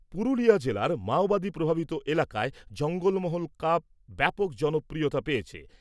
পুরুলিয়া জেলার মাওবাদী প্রভাবিত এলাকায় 'জঙ্গলমহল কাপ ব্যাপক জনপ্রিয়তা পেয়েছে।